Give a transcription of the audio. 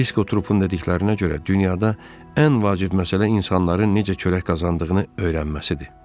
Disko trupun dediklərinə görə dünyada ən vacib məsələ insanların necə çörək qazandığını öyrənməsidir.